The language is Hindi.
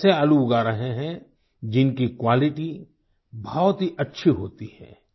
वो ऐसे आलू उगा रहें हैं जिनकी क्वालिटी बहुत ही अच्छी होती है